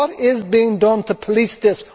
What is being done to police this?